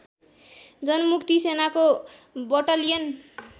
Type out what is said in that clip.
जनमुक्ति सेनाको बटालियन